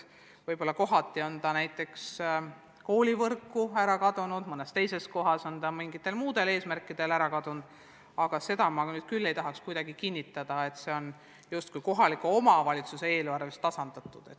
Võib-olla kohati on see raha näiteks koolivõrku ära kadunud, mõnes teises kohas on ta mingitel muudel eesmärkidel kulutatud, aga seda ma küll ei tahaks kinnitada, et see on kohaliku omavalitsuse eelarvest mujale suunatud.